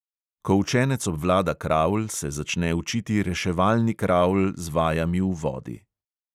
Ko učenec obvlada kravl, se začne učiti reševalni kravl z vajami v vodi.